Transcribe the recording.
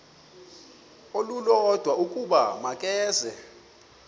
olulodwa ukuba makeze